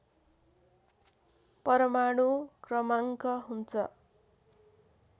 परमाणु क्रमाङ्क हुन्छ